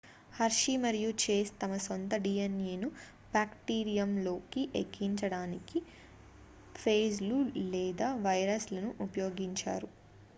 hershey మరియు chase తమ సొంత dnaను బ్యాక్టీరియంలోకి ఎక్కించడానికి ఫేజ్‌లు లేదా వైరస్‌లను ఉపయోగించారు